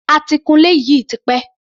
A ti kun ilé yìí tipẹ́.